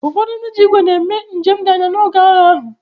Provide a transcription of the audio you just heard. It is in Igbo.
Ụfọdụ ndị ji ígwè na-eme njem dị anya n’oge agha ahụ.